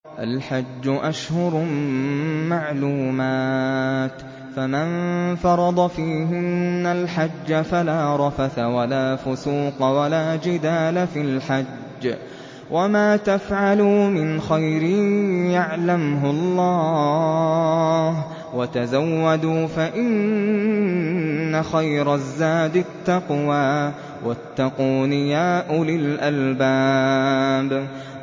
الْحَجُّ أَشْهُرٌ مَّعْلُومَاتٌ ۚ فَمَن فَرَضَ فِيهِنَّ الْحَجَّ فَلَا رَفَثَ وَلَا فُسُوقَ وَلَا جِدَالَ فِي الْحَجِّ ۗ وَمَا تَفْعَلُوا مِنْ خَيْرٍ يَعْلَمْهُ اللَّهُ ۗ وَتَزَوَّدُوا فَإِنَّ خَيْرَ الزَّادِ التَّقْوَىٰ ۚ وَاتَّقُونِ يَا أُولِي الْأَلْبَابِ